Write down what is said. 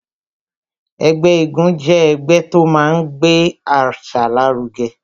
Ẹgbẹ́ égún jẹ́ ẹgbẹ́ tó máa ń gbé àṣà lárugẹ